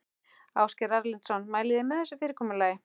Ásgeir Erlendsson: Mælið þið með þessu fyrirkomulagi?